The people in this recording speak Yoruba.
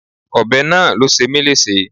Ọbẹ̀ náà ló ṣe mí léṣe.